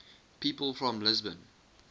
people from lisbon